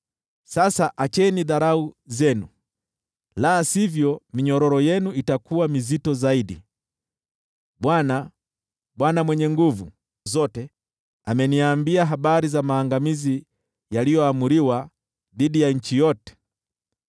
Sasa acheni dharau zenu, la sivyo minyororo yenu itakuwa mizito zaidi. Bwana, Bwana Mwenye Nguvu Zote, ameniambia habari za maangamizi yaliyoamriwa dhidi ya nchi yote.